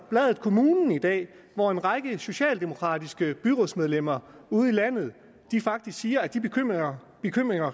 bladet kommunen i dag hvor en række socialdemokratiske byrådsmedlemmer ude i landet faktisk siger at de bekymringer